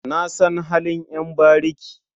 Na san halin ƴan bariki.